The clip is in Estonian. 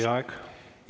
Teie aeg!